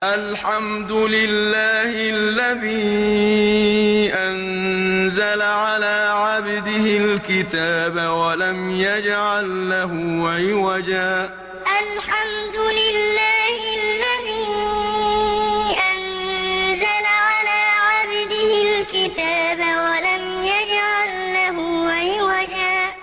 الْحَمْدُ لِلَّهِ الَّذِي أَنزَلَ عَلَىٰ عَبْدِهِ الْكِتَابَ وَلَمْ يَجْعَل لَّهُ عِوَجًا ۜ الْحَمْدُ لِلَّهِ الَّذِي أَنزَلَ عَلَىٰ عَبْدِهِ الْكِتَابَ وَلَمْ يَجْعَل لَّهُ عِوَجًا ۜ